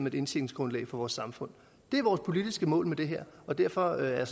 et indtjeningsgrundlag for vores samfund det er vores politiske mål med det her og derfor er jeg